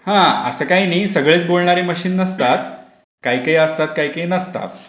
हा असं काही नाही. सगळेच बोलणारे मशीन नसतात. काय काय असतात काही काही नसतात.